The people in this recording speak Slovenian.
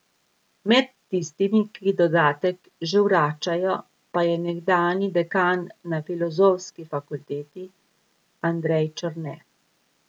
Med tistimi, ki dodatek že vračajo pa je nekdanji dekan na filozofski fakulteti Andrej Černe.